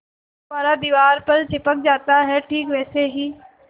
गुब्बारा दीवार पर चिपक जाता है ठीक वैसे ही